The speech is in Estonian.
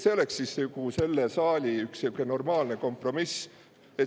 See oleks selle saali üks siuke normaalne kompromiss.